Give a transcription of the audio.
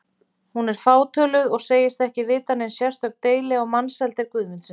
Hún er fátöluð og segist ekki vita nein sérstök deili á Mensalder Guðmundssyni.